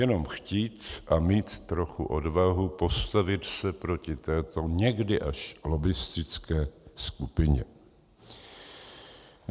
Jenom chtít a mít trochu odvahu postavit se proti této někdy až lobbistické skupině.